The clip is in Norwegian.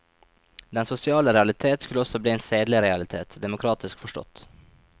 Den sosiale realitet skulle også bli en sedelig realitet, demokratisk forstått.